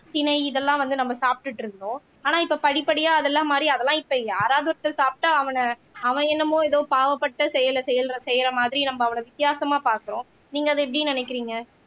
திணை இதெல்லாம் வந்து நம்ம சாப்பிட்டுட்டு இருந்தோம் ஆனா இப்ப படிப்படியா அதெல்லாம் மாறி அதெல்லாம் இப்ப யாராவது ஒருத்தர் சாப்பிட்டா அவன அவன் என்னமோ ஏதோ பாவப்பட்ட செயலை செய்யசெய்யற மாதிரி நம்ம அவன வித்தியாசமா பாக்கறோம் நீங்க அதை எப்படி நினைக்கறீங்க